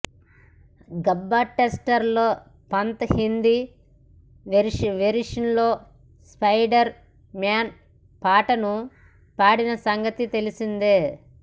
గబ్బా టెస్టులో పంత్ హిందీ వెర్షన్లో Spider Man పాటను పాడిన సంగతి తెలిసిందే